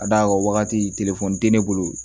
Ka d'a kan wagati tɛ ne bolo